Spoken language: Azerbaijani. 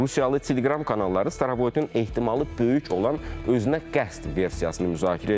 Rusiyalı Telegram kanalları Starovoytun ehtimalı böyük olan özünə qəsd versiyasını müzakirə edirlər.